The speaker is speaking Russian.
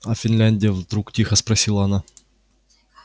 а финляндия вдруг тихо спросила она